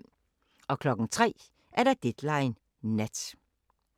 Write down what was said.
03:00: Deadline Nat